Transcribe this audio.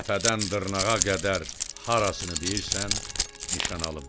Təpədən dırnağa qədər harasını deyirsən, nişan alım.”